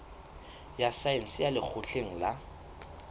ya saense ya lekgotleng la